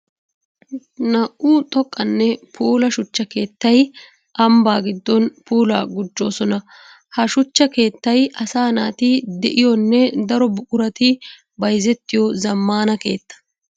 Naa'u xoqqanne puula shuchcha keettay ambban gidon puula gujjosonna. Ha shuchcha keettay asaa naati de'iyonne daro buquratti bayzzettiyo zamaana keetta.